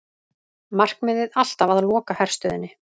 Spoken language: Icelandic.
Markmiðið alltaf að loka herstöðinni